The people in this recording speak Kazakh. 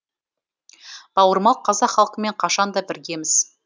бауырмал қазақ халқымен қашан да біргеміз